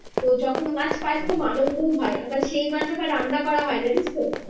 তো যখন মাছ পাই খুব আনন্দ হয় আবার সেই মাছ রান্না হয় জানিস তো